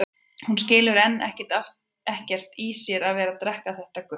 Hún skilur enn og aftur ekkert í sér að vera að drekka þetta gutl.